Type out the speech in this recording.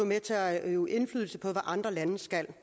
med til at øve indflydelse på hvad andre lande skal